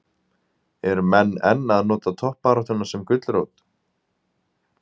Eru menn enn að nota toppbaráttuna sem gulrót?